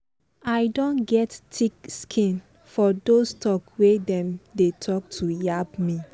i don get thick skin for dos talk wey dem dey talk to yaba me